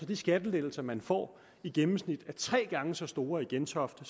de skattelettelser man får i gennemsnit er tre gange så store i gentofte